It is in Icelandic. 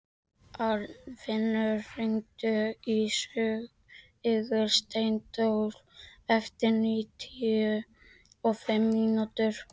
Arnfinnur, hringdu í Sigursteindór eftir níutíu og fimm mínútur.